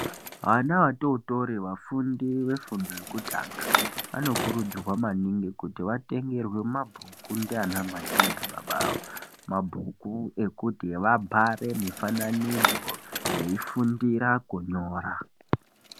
Vana vatootori vafundi vefundo yekutanga vanokurudzirwa maningi kuti vatengerwe mabhuku ndianamai naanababa avo. Mabhuku ekuti vabhare mifananidzo veifundira kunyo.